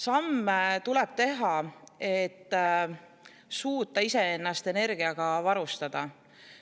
Samme tuleb teha, et suuta iseennast energiaga varustada.